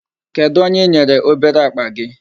Kedụ onye i nyere obere akpa gị?